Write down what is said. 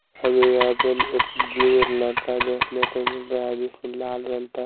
हमें यहां पे एक लड़का देखने को मिल रहा है जिसने लाल रंग ता--